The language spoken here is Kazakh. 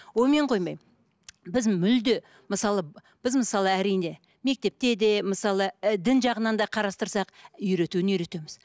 онымен қоймай біз мүлде мысалы біз мысалы әрине мектепте де мысалы ы дін жағынан да қарастырсақ үйретуін үйретеміз